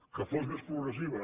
que fos més progressiva